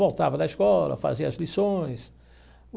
Voltava da escola, fazia as lições.